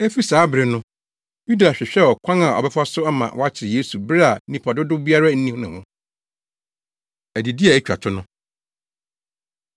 Efi saa bere no, Yuda hwehwɛɛ ɔkwan a ɔbɛfa so ama wɔakyere Yesu bere a nnipa dodow biara nni ne ho. Adidi A Etwa To No